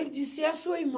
Ele disse, é sua irmã.